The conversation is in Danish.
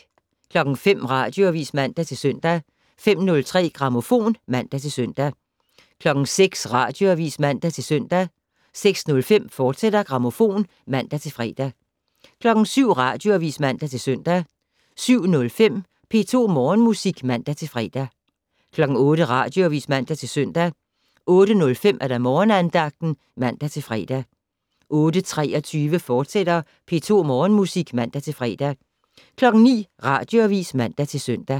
05:00: Radioavis (man-søn) 05:03: Grammofon (man-søn) 06:00: Radioavis (man-søn) 06:05: Grammofon, fortsat (man-fre) 07:00: Radioavis (man-søn) 07:05: P2 Morgenmusik (man-fre) 08:00: Radioavis (man-søn) 08:05: Morgenandagten (man-fre) 08:23: P2 Morgenmusik, fortsat (man-fre) 09:00: Radioavis (man-søn)